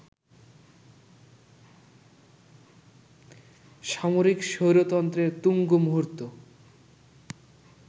সামরিক স্বৈরতন্ত্রের তুঙ্গ মুহূর্ত